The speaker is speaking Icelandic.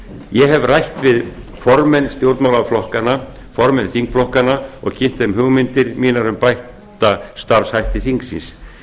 ég hef rætt við formenn stjórnmálaflokkanna og formenn þingflokkanna og kynnt þeim hugmyndir mínar um bætta starfshætti þingsins